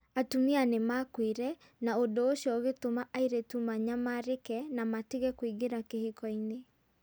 Atumia nĩ maakuire, na ũndũ ũcio ũgĩtũma airĩtu manyamarĩke na matige kũingĩra kĩhiko-inĩ.